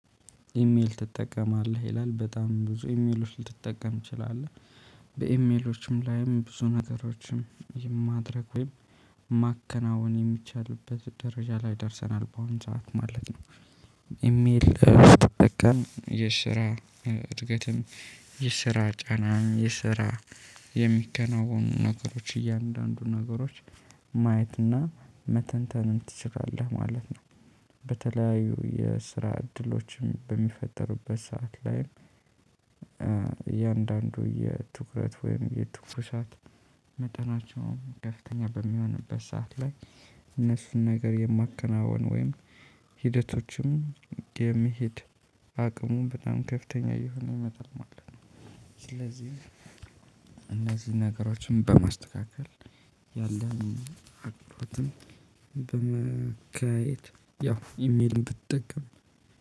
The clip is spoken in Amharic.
ኢሜል ትጠቀማለህ ይላል? በጣም ብዙ ኢሜሎች ልትጠቀም ትችላለህ። በኢሜሎችም ላይም ብዙ ነገሮችን የማድረግ ወይም ማከናወን የሚቻልበት ደረጃ ላይ ደርሰናል በአሁን ሰዓት ማለት ነው። ኢሜል የስራ እድገትም የስራ ጫና የስራ የሚከናወኑ ነገሮች እያንዳንዱ ነገሮች ማየትና መተንተንን ትችላለህ ማለት ነው። በተለያዩ የስራ እድሎችም በሚፈጠሩበት ሰዓት ላይ። የእያንዳንዱ የትኩረት ወይም የትኩሳት መጠናቸውም ከፍተኛ በሚሆንበት ሰዓት ላይ እነሱን ነገር የማከናውን ወይም ሂደቶችም የሚሄድ አቅሙ በጣም ከፍተኛ እየሆነ ይመጣል ማለት ነው። ስለዚህ እነዚህ ነገሮችን በማስተካከል ያለን አቅም በማካሄድ ያው ኢሜልም ብትጠቀም